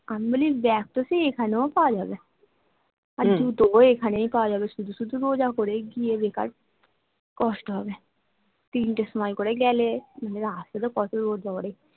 আমি বলি bag তো সেই এখানেও পাওয়া যাবে আর জুতোও এখানেই পাওয়া যাবে শুধু শুধু রোজা করে গিয়ে বেকার কষ্ট হবে তিনটের সময় করে গেলে রাস্তায় তো কত রোদ বাবা রে